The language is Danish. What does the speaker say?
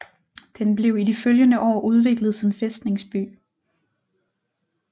Den blev i de følgende år udviklet som fæstningsby